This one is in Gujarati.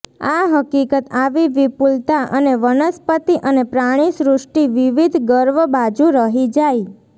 આ હકીકત આવી વિપુલતા અને વનસ્પતિ અને પ્રાણીસૃષ્ટિ વિવિધ ગર્વ બાજુ રહી જાય